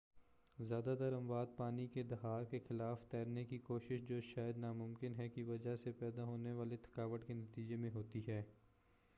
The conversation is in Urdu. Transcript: زیادہ تر اموات پانی کے دھار کے خلاف تیرنے کی کوشش جو شاید نا ممکن ہے کی وجہ سے پیدا ہونے والی تھکاوٹ کے نتیجے میں ہوتی ہیں